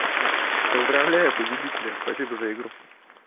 поздравляю победителя спасибо за игру